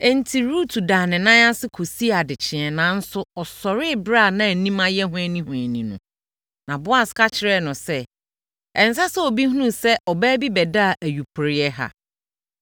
Enti, Rut daa ne nan ho kɔsii adekyeeɛ nanso ɔsɔree ɛberɛ a na anim ayɛ hwanihwani no. Na Boas ka kyerɛɛ no sɛ, “Ɛnsɛ sɛ obi hunu sɛ ɔbaa bi bɛdaa ayuporeeɛ ha.”